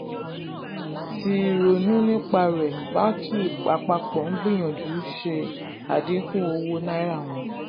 tí ronú nípa rẹ̀ báńkì àpapọ̀ ń gbìyànjú ṣe adínkù owó náírà wọn.